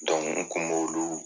Dɔnku n kun b'olu